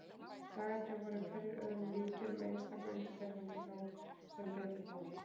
Dagarnir voru hverjir öðrum líkir, með einstaka undantekningum þó, sem betur fór.